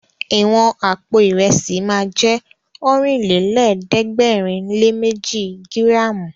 Ìwọ̀n àpò Ìrẹ́sì ma jẹ́ Ọ̀rìnlélẹ̀ẹ́dẹ́gbèrinléméji gíràmù